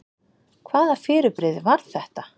Hvaða fyrirbrigði var þetta?